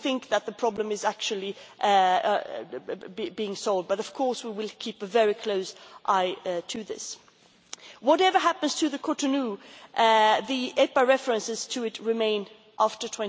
We think that the problem is actually being solved, but of course we will keep a very close eye on this. Whatever happens to the Cotonou, the EPA references to it remain after